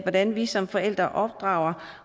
hvordan vi som forældre opdrager